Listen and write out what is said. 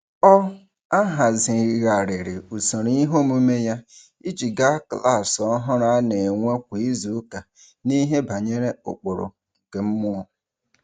Ọ ahazigharịrị usoro iheomume ya iji ga klaasị ọhụrụ a na-enwe kwa izuụka n’ihe banyere ụkpụrụ nke mmụọ.